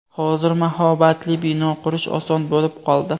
Hozir mahobatli bino qurish oson bo‘lib qoldi.